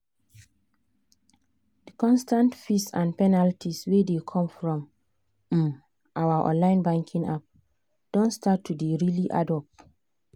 the constant fees and penalties wey dey come from um our online banking app don start to dey really add up.